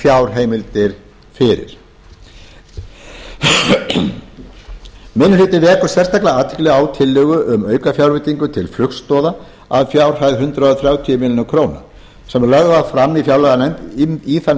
fjárheimildir fyrir minni hlutinn vekur sérstaka athygli á tillögu um aukafjárveitingu til flugstoða að fjárhæð hundrað þrjátíu milljónir króna sem var lögð fram í þann